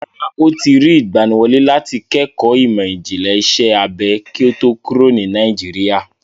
Rárá, ó ti rí ìgbaniwọlé láti kẹ́kọ̀ọ́ ìmọ̀ ìjìnlẹ̀ iṣẹ́ abẹ kí ó tó kúrò ní Nàìjíríà.